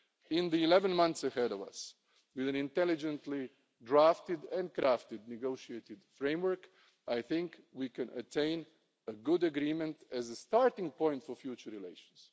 In the 11 months ahead of us, with an intelligently drafted and crafted negotiated framework, I think we can attain a good agreement as a starting point for future relations.